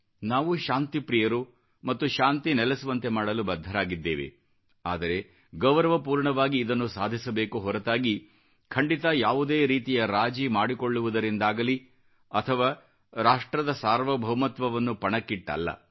ನಾವು ಶಾಂತಿಪ್ರೀಯರು ಮತ್ತು ಶಾಂತಿ ನೆಲೆಸುವಂತೆ ಮಾಡಲು ಬದ್ಧರಾಗಿದ್ದೇವೆ ಆದರೆ ಗೌರವಪೂರ್ಣವಾಗಿ ಇದನ್ನು ಸಾಧಿಸಬೇಕು ಹೊರತಾಗಿ ಖಂಡಿತ ಯಾವುದೇ ರೀತಿಯ ರಾಜಿ ಮಾಡಿಕೊಳ್ಳುವುದರಿಂದಾಗಲೀ ಅಥವಾ ರಾಷ್ಟ್ರದ ಸಾರ್ವಭೌಮತ್ವವನ್ನು ಪಣಕ್ಕಿಟ್ಟಲ್ಲ